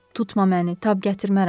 Tutma məni, tab gətirmərəm.